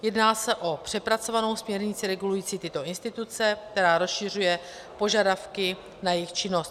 Jedná se o přepracovanou směrnici regulující tyto instituce, která rozšiřuje požadavky na jejich činnost.